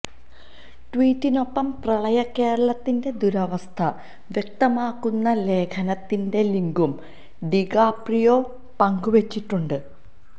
ട്വീറ്റിനൊപ്പം പ്രളയകേരളത്തിന്റെ ദുരവസ്ഥ വ്യക്തമാക്കുന്ന ലേഖനത്തിന്റെ ലിങ്കും ഡികാപ്രിയോ പങ്കുവെച്ചിട്ടുണ്ട്